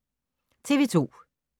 TV 2